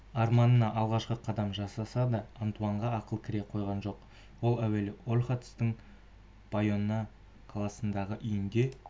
арманына алғашқы қадам жасаса да антуанға ақыл кіре қойған жоқ ол әуелі ольхатстың байонна қаласындағы үйінде